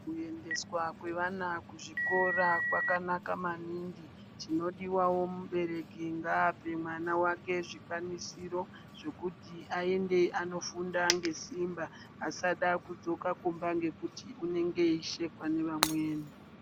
Kuendeswa kwevana kuzvikora kwakanaka maningi. Chinodiwawo mubereki ngaapewo mwana wake zvikwanisiro zvokuti aende anofunda ngesimba asada kudzoka kumba ngekuti unenge eishekwa ngevamweni.